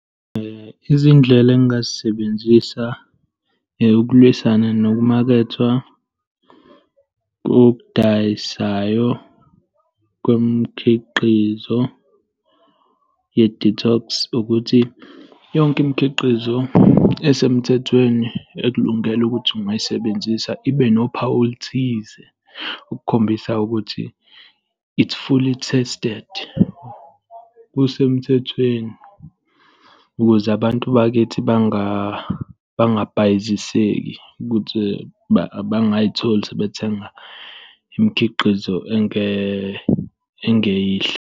[um Izindlela engingazisebenzisa ukulwisana nokumakethwa kokudayisayo kwemikhiqizo ye-detox ukuthi yonke imikhiqizo esemthethweni ekulungele ukuthi ungayisebenzisa ibe nophawu oluthize, ukukhombisa ukuthi it's fully tested, kusemthethweni, ukuze abantu bakithi bangabhayiziseki, ukuze bangazitholi sebethenga imikhiqizo engeyinhle.